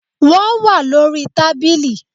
Wọ́n wá lórí tábìlì